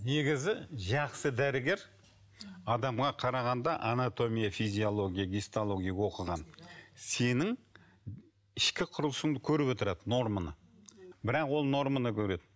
негізі жақсы дәрігер адамға қарағанда анатомия физиология дистология оқыған сенің ішкі құрылысыңды көріп отырады норманы бірақ ол норманы көреді